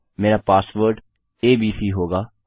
मेरा password ABC होगा